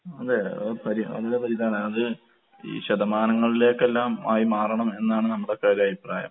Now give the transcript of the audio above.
അതെ അത് പരി നല്ല അത് ഈ ശതമാനങ്ങളിലേക്കെല്ലാം ആയി മാറണം എന്നാണ് നമ്മടേക്കൊരഭിപ്രായം.